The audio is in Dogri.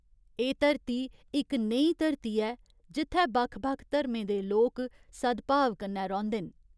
एह् धरती इक नेही धरती ऐ जित्थै बक्ख बक्ख धर्में दे लोक सद्भाव कन्नै रौंह्‌दे न।